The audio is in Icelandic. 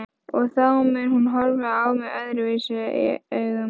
Og þá mun hún horfa á mig öðruvísi augum.